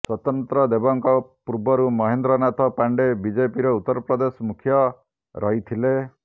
ସ୍ୱତନ୍ତ୍ର ଦେବଙ୍କ ପୂର୍ବରୁ ମହେନ୍ଦ୍ର ନାଥ ପାଣ୍ଡେ ବିଜେପିର ଉତ୍ତର ପ୍ରଦେଶ ମୁଖ୍ୟ ରହିଥିଲେ